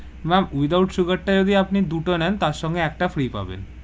ma'am without sugar টা যদি আপনি দুটো নেন তার সঙ্গে একটা free পাবেন.